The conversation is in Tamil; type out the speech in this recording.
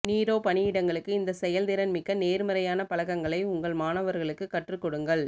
நீரோ பணியிடங்களுக்கு இந்த செயல்திறன்மிக்க நேர்மறையான பழக்கங்களை உங்கள் மாணவர்களுக்கு கற்றுக்கொடுங்கள்